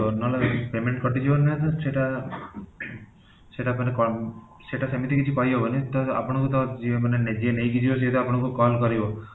ନ ହେଲେ payment କଟିଯିବ ନିହାତି ସେଟା ସେଟା କଣ ସେଟା ସେମିତି କିଛି କହିହବନି ତ ଆପଣଙ୍କୁ ତ ଯିଏ ମାନେ ଯିଏ ନେଇକି ଯିବା ସିଏ ତ ଆପଣଙ୍କୁ call କରିବ